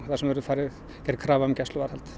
þar sem verður gerð krafa um gæsluvarðhald